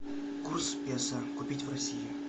курс песо купить в россии